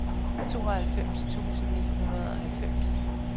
tooghalvtreds tusind ni hundrede og halvfems